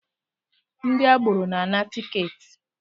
Ndị agboro na-ana tiketi